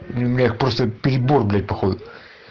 нет просто перебор блять по ходу